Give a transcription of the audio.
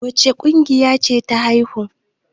wacce akuyar ce ta haihu?